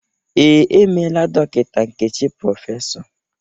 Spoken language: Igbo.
Ee, e meela Dọkịta Nkechi Prọfesọ.